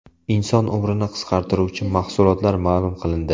Inson umrini qisqartiruvchi mahsulotlar ma’lum qilindi.